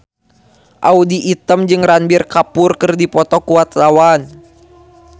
Audy Item jeung Ranbir Kapoor keur dipoto ku wartawan